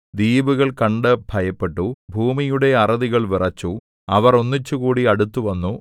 ദ്വീപുകൾ കണ്ടു ഭയപ്പെട്ടു ഭൂമിയുടെ അറുതികൾ വിറച്ചു അവർ ഒന്നിച്ചുകൂടി അടുത്തുവന്നു